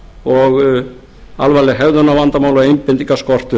og alvarleg hegðunarvandamál og einbeitingarskortur